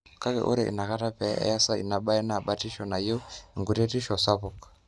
kake ore inakata pee eyasa inabae na batisho na neyau enkuretisho sapuk